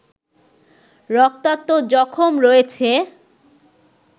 রক্তাক্ত জখম রয়েছে